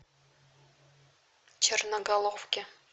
черноголовке